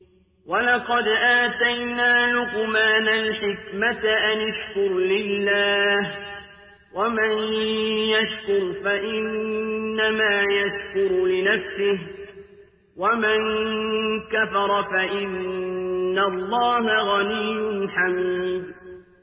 وَلَقَدْ آتَيْنَا لُقْمَانَ الْحِكْمَةَ أَنِ اشْكُرْ لِلَّهِ ۚ وَمَن يَشْكُرْ فَإِنَّمَا يَشْكُرُ لِنَفْسِهِ ۖ وَمَن كَفَرَ فَإِنَّ اللَّهَ غَنِيٌّ حَمِيدٌ